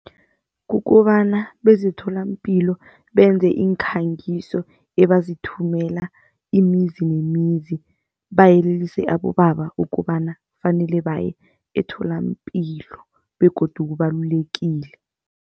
Kukobana bezemtholapilo benze iinkhangiso ebazithumela imizi nemizi bayelelise abobaba ukobana kufanele baye emtholapilo begodu kubalulekile.